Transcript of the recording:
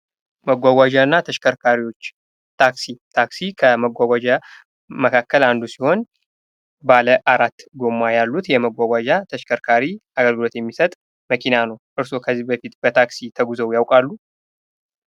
መጓጓዣ እና ተሽከርካሪዎች ። ታክሲ ፡ ታክሲ ከመጓጓዣ መካከል አንዱ ሲሆን ባለአራት ጎማ ያሉት የመጓጓዣ ተሽከርካሪ አግልግሎት የሚሰጥ መኪና ነው ። እርሶ ከዚህ በፊት በታክሲ ተጉዘው ያውቃሉ?